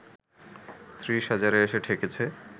৩০ হাজারে এসে ঠেকেছে